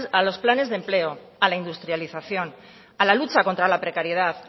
a los planes de empleo a la industrialización a la lucha contra la precariedad